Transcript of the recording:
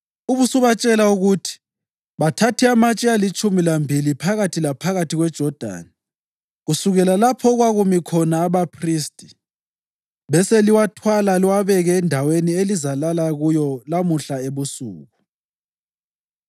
ubusubatshela ukuthi bathathe amatshe alitshumi lambili phakathi laphakathi kweJodani kusukela lapho okwakumi khona abaphristi, beseliwathwala liwabeke endaweni elizalala kuyo lamuhla ebusuku.”